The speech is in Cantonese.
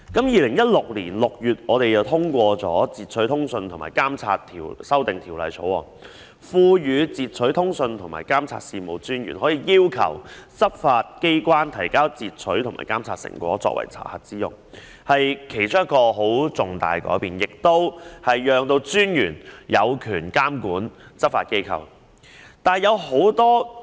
2016年6月通過的《截取通訊及監察條例草案》賦權截取通訊及監察事務專員要求執法機關提供截取及監察成果作查核之用，是其中一個十分重大的改變，讓專員有權監管執法機構。